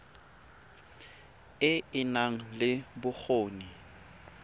e e nang le bokgoni